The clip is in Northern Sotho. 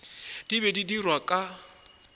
di be di dirwa ka